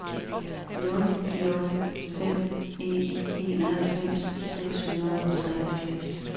nul nul fem en enoghalvfems seks hundrede og treogfirs